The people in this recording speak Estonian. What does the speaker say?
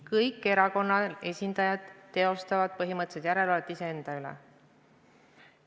Kõik erakondade esindajad teostavad põhimõtteliselt järelevalvet iseenda üle.